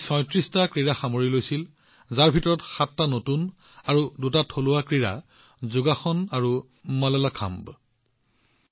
ইয়াত ৩৬ টা ক্ৰীড়া অন্তৰ্ভুক্ত কৰা হৈছিল যত ৭ টা নতুন আৰু দুটা থলুৱা প্ৰতিযোগিতা যোগাসন আৰু মাললাখাম্বো অন্তৰ্ভুক্ত কৰা হৈছিল